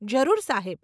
જરૂર સાહેબ.